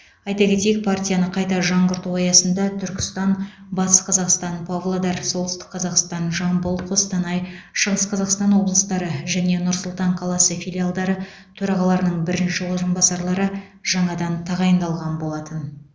айта кетейік партияны қайта жаңғырту аясында түркістан батыс қазақстан павлодар солтүстік қазақстан жамбыл қостанай шығыс қазақстан облыстары және нұр сұлтан қаласы филиалдары төрағаларының бірінші орынбасарлары жаңадан тағайындалған болатын